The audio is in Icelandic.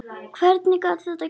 Hvernig gat þetta gerst?